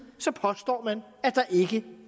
påstår man at der ikke